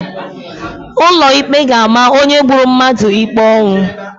Ụlọ ikpe ga-ama onye gburu mmadụ ikpe ọnwụ.